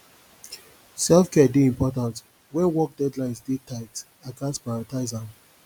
selfcare dey important when work deadlines dey tight i gats prioritize am